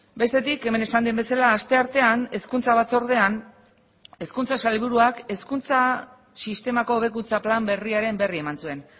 bestetik hemen esan den bezala asteartean hezkuntza batzordean hezkuntza sailburuak hezkuntza sistemako hobekuntza plan berriaren berri eman zuen